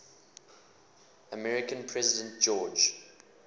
american president george